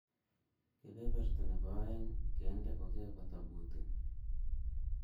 kebeberta nebo oeng kende kokebata booting